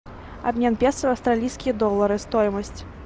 обмен песо в австралийские доллары стоимость